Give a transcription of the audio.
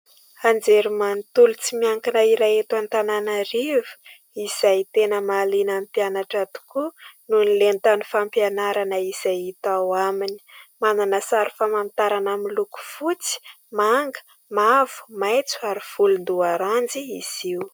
Anjerimanontolo tsy miankina iray eto Antananarivo, izay tena mahaliana ny mpianatra tokoa noho ny lentany fampianarana izay hita ao aminy ; manana sary famantarana miloko fotsy, manga, mavo, maitso ary volondoaranjy izy io.